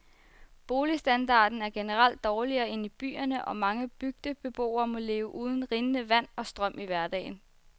Boligstandarden er generelt dårligere end i byerne, og mange bygdebeboere må leve uden rindende vand og strøm i hverdagen.